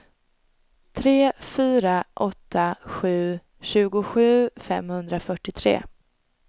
tre fyra åtta sju tjugosju femhundrafyrtiotre